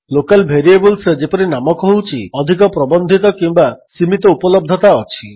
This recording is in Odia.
ଲୋକାଲ୍ ଭେରିଏବଲ୍ସରେ ଯେପରି ନାମ କହୁଛି ଅଧିକ ପ୍ରବନ୍ଧିତ କିମ୍ୱା ସୀମିତ ଉପଲବ୍ଧତା ଅଛି